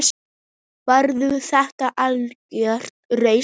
Verður þetta algjört rúst???